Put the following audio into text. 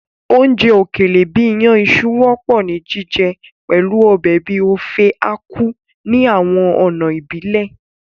Oúnjẹ òkèlè bìí iyàn iṣu wọ́pọ̀ ni jíjẹ pẹ̀lu ọbẹ̀ bíi Ofe Akwu ní àwọn ọ̀nà ìbílẹ̀.